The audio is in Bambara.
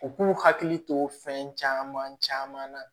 U k'u hakili to fɛn caman caman na